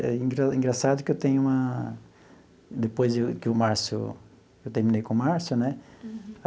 É é engraçado que eu tenho uma... Depois que o Márcio eu terminei com o Márcio, né?